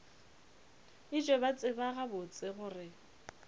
etšwe ba tseba gabotse gore